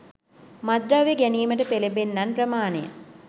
මත්ද්‍රව්‍ය ගැනීමට පෙලඹෙන්නන් ප්‍රමාණය